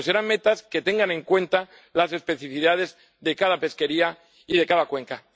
Pero serán metas que tengan en cuenta las especificidades de cada pesquería y de cada cuenca.